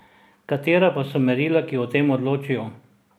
Katera pa so merila, ki o tem odločijo?